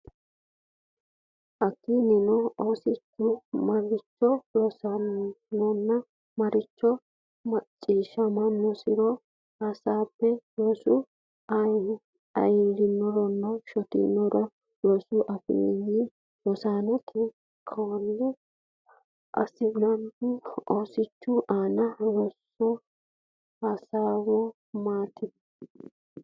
Hakkiinnino, oosichu maricho rosinoronna marichi macciishshaminosi(e)ro hasaabbe: Rosu ayirrinoronna shotinoro Rosu afoo rosate kaa’lo assannohoro Oosichu aane rosara hasi’rannori maatiro.